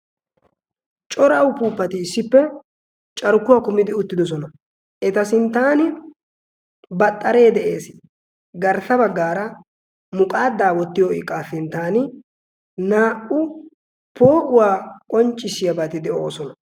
corau puupati issippe carkkuwaa kumidi uttidosona eta sinttan baxxaree de7ees garssa baggaara muqaadaa wottiyo iqqaa sinttan naa77u poo7uwaa qonccissiyaabaati de7oosona